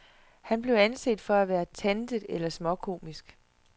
Han blev anset for at være tantet eller småkomisk.